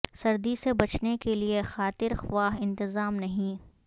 سردی سے بچنے کے لیے خاطر خواہ انتظام نہیں